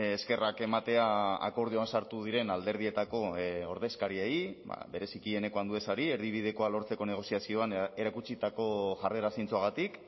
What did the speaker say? eskerrak ematea akordioan sartu diren alderdietako ordezkariei bereziki eneko anduezari erdibidekoa lortzeko negoziazioan erakutsitako jarrera zintzoagatik